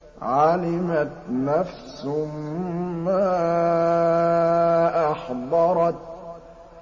عَلِمَتْ نَفْسٌ مَّا أَحْضَرَتْ